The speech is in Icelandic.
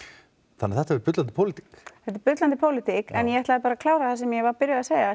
þannig að þetta er bullandi pólitík þetta er bullandi pólitík en ég ætlaði bara að klára það sem ég var byrjuð að segja